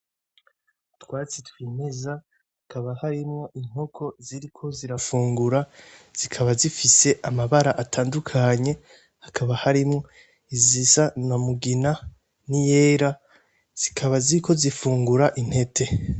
Utwatsi twimeza hakaba harimwo inkoko ziriko zirafungura zikaba zifise amabara atandukanye hakaba harimo izisa namugina N’iyera zikaba ziriko zifungura intete.